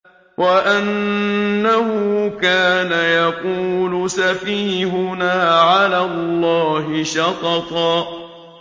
وَأَنَّهُ كَانَ يَقُولُ سَفِيهُنَا عَلَى اللَّهِ شَطَطًا